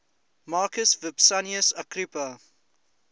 marcus vipsanius agrippa